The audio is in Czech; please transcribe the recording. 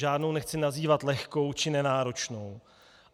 Žádnou nechci nazývat lehkou či nenáročnou.